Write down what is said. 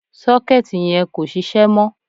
Sọ́kẹ́ẹ̀tì yẹn kò sisẹ́ mọ́.